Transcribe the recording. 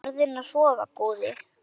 Farðu inn að sofa góði.